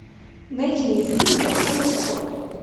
найди мне фильмы в жанре спорт